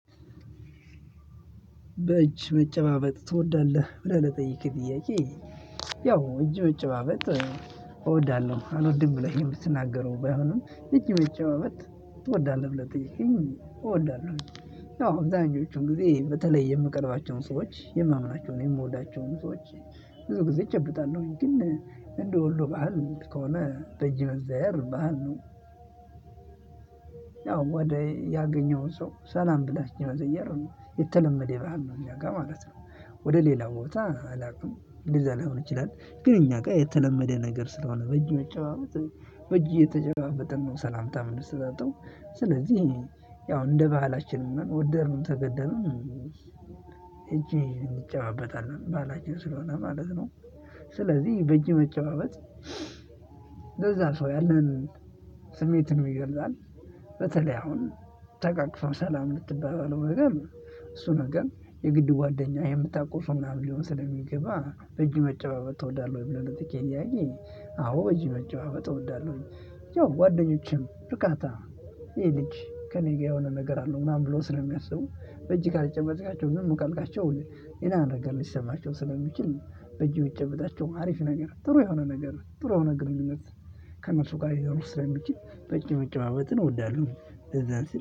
በእጅ መጨባበጥ ትወዳለህ ብለህ ለጠየቅክ ጥያቄ? ያው እጅ መጨባበጥ እወዳለሁ አልወድም ብለህ የምትናገረው ባይሆንም እጅ መጨባበጥ ትወዳለህ ብለህ ከጠየከኝ እወዳለሁኝ ያወ አብዛኞቹን ጊዜ በተለይ የምቀርባቸውን ሰዎች የማምናቸውንና የምወድቸውን ሰዎች ብዙ ጊዜ እጨብጣለሁ። እንደ ወሎ ባህል ከሆነ ደጅ መዘያየር ባህል ነው ነው። ያው ወደ ያገኘውን ሰው ሰላም ብላም እጅ መዘየር ነው የተለመደ ባህል ነው እኛ ጋር ማለት ነው። ወደ ሌላ ቦታ አላውቅም እንደዛሊሆን ይችላል ግን እኛ ጋር የተለመደ ነገር ስለሆነ በእጅ መጨባበጥ በእጅ እየተጨባበጥን ነው ሰላምታ ሰላምታ የምንሰጣጣው። ያው እንደ ባህላችን ወደድን ተገደድን። እጄ እንጨባበታለን ባህላችን ስለሆነ ማለት ነው። ነው ያው ወደ ያገኘውን ሰው ሰላም ብለህ እጅ መዘየር ነው የተለመደ ባህል ነው እኛ ጋር ማለት ነው። ወደ ሌላ ቦታ አላውቅም እንደዛ ስለሆነ ይችላል ግን እኛ ጋር የተለመደ ነገር ስለሆነ በእጅ መጨባበጥ በእጅ እየተጨባበጥን ነው ሰላምታ የምንሰጣጣው። ስለዚህ እሱ ነገር የግድ ጓደኛ የምታውቀው ሰው ምናምን ሊሆን ስለሚገባ በእጅ መጨባበቅ ትወዳለሁ ወይ ብለን ትኬት እያየኝ አዎ እዚህ ነገር እወዳለሁኝ። ያው ጓደኞቼም ብቃታ ይሄ ልጅ ከእኔ ጋር የሆነ ነገር አለው ምናምን ብሎ ስለሚያስቡ በእጅ ካልጨበጥካቸው ዝም ካልካቸው ሌላ ነገር ሊሰማቸው ስለሚችል። በእጅህ ብጨባጣቸው አሪፍ ነገር ጥሩ የሆነ ነገር ጥሩ የሆነ ግንኙነት። ከእነሱ ጋር ይሄው ለምትችል በእጅ መጨባበጥን እወዳለሁ። እዛን ሲል